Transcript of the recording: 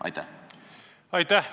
Aitäh!